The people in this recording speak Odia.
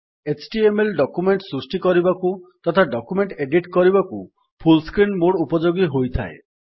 ଏଚଟିଏମଏଲ ଡକ୍ୟୁମେଣ୍ଟ୍ ସୃଷ୍ଟି କରିବାକୁ ତଥା ଡକ୍ୟୁମେଣ୍ଟ୍ ଏଡିଟ୍ କରିବାକୁ ଫୁଲ୍ ସ୍କ୍ରିନ୍ ମୋଡ୍ ଉପଯୋଗୀ ହୋଇଥାଏ